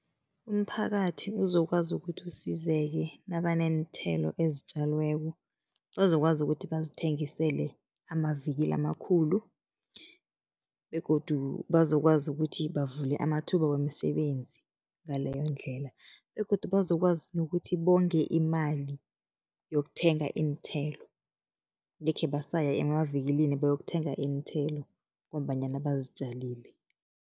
Umphakathi uzokwazi ukuthi usizeke nabaneenthelo ezitjaliweko, bazokwazi ukuthi bazithengisele amavikili amakhulu begodu bazokwazi ukuthi bavule amathuba wemisebenzi ngaleyo ndlela begodu bazokwazi nokuthi bonge imali yokuthenga iinthelo. Angekhe basaya emavikilini bayokuthenga iinthelo ngombanyana bazitjalile.